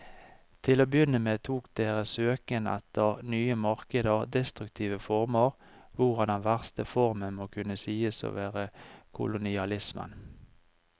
Til å begynne med tok deres søken etter nye markeder destruktive former, hvorav den verste formen må kunne sies å være kolonialismen.